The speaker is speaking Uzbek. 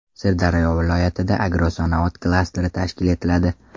Sirdaryo viloyatida agrosanoat klasteri tashkil etiladi.